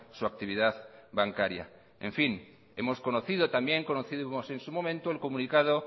su actividad bancaria hemos conocido también conocimos en su momento el comunicado